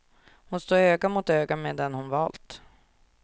Hon står öga mot öga med den hon valt.